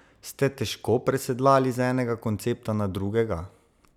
Ste težko presedlali z enega koncepta na drugega?